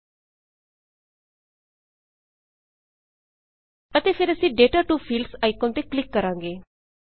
ਅਤੇ ਫੇਰ ਅਸੀਂ data to fields data to fields icon ਤੇ ਕਲਿੱਕ ਕਰਾਂਗੇ